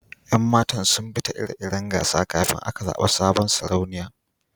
Yan matan zun bi ta ire-iren gasa kafin aka zaba sabon Sarauniyan.